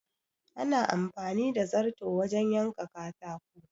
Ana amfani da zarto wajen yanka katako